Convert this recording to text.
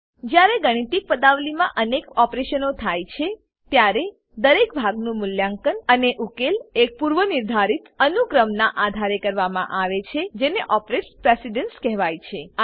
જ્યારે ગાણિતિક પદાવલીમાં અનેક ઓપરેશનો થાય છે ત્યારે દરેક ભાગનું મૂલ્યાંકન અને ઉકેલ એક પૂર્વનિર્ધારિત અનુક્રમનાં આધારે કરવામાં આવે છે જેને ઓપરેટર પ્રેસીડન્સ કહેવાય છે